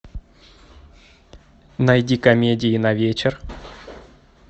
найди комедии на вечер